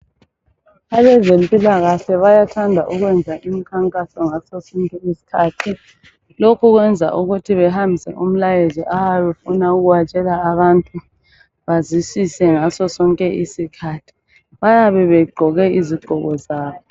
Abezempilakahle bayathanda ukwenza imikhankaso ngaso sonke isikhathi. Lokhu kwenza ukuthi behambise umlayezo abayabe befuna ukuwatshela abantu bazwisise ngaso isikhathi. Bayabe begqoke izigqoko zabo.